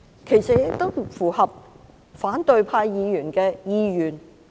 其實它亦符合反對派議員的意願。